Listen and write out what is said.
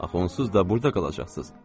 Axı onsuz da burada qalacaqsınız.